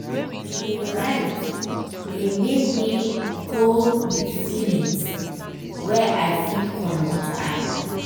to de write de make me go with feelings wey i fit commot eye.